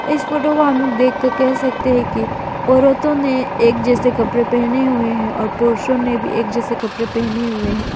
इस फोटो को हम लोग देख के कह सकते है कि औरतों ने एक जैसे कपड़े पहने हुए हैं और पुरुषों ने भी एक जैसे कपड़े पहने हुए हैं।